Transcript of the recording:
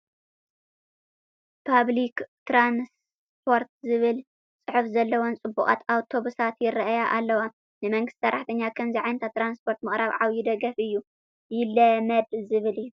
ፐብሊክ ትራንስፖርት ዝብል ፅሑፍ ዘለወን ፅቡቓት ኣውቶቡሳት ይርአያ ኣለዋ፡፡ ንመንግስቲ ሰራሕተኛ ከምዚ ዓይነት ትራንስፖርት ምቕራብ ዓብዪ ደገፍ እዩ፡፡ ይለመድ ዘብል እዩ፡፡